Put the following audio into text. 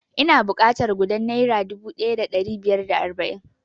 Ina buƙatar gudan naira dubu ɗaya da ɗari biyar da arba'in